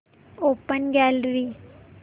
open gallery